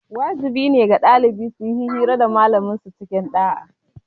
Wajibi ne ga ɗalibai suyi hira da malaman su cikin ɗa'a